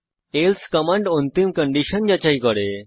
else command অন্তিম condition যাচাই করে